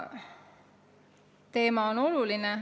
Teema on oluline.